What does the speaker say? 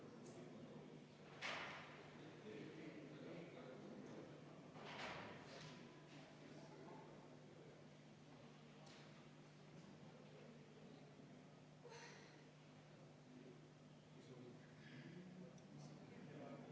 Meil on nüüd jõudnud esimene kolmapäevane päevakorrapunkt siia arutelu alla.